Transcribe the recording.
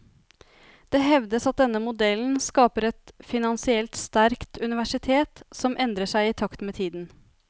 Det hevdes at denne modellen skaper et finansielt sterkt universitet som endrer seg i takt med tiden.